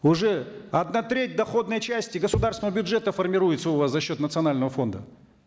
уже одна треть доходной части государственного бюджета формируется у вас за счет национального фонда